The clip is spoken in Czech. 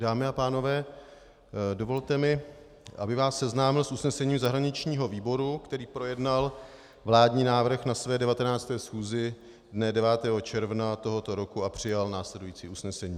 Dámy a pánové, dovolte mi, abych vás seznámil s usnesením zahraničního výboru, který projednal vládní návrh na své 19. schůzi dne 9. června tohoto roku a přijal následující usnesení.